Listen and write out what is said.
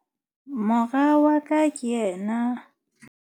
Mora wa ka ke yena.